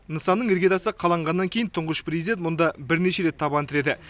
нысанның іргетасы қаланғаннан кейін тұңғыш президент мұнда бірнеше рет табан тіреді